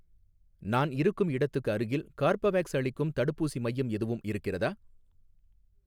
நான் இருக்கும் இடத்துக்கு அருகில் கார்பவேக்ஸ் அளிக்கும் தடுப்பூசி மையம் எதுவும் இருக்கிறதா?